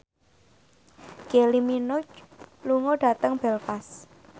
Kylie Minogue lunga dhateng Belfast